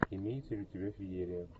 имеется ли у тебя феерия